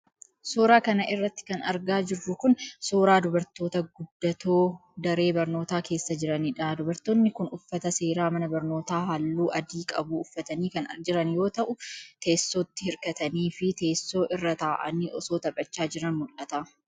Suura kana irratti kan argaa jirru kun, suura dubartoota guddatoo, daree barnootaa keessa jiraniidha. Dubartoonni kun, uffata seera mana barnootaa haalluu adii qabuu uffatanii kan jiran yoo ta'u, teessootti hirkatanii fi teessoo irra ta'anii osoo taphachaa jiranii mul'atu.